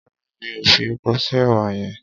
Rárá mi ò fi epo sí èwà yẹn.